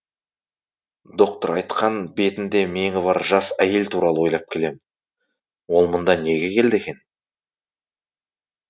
доктор айтқан бетінде меңі бар жас әйел туралы ойлап келемін ол мұнда неге келді екен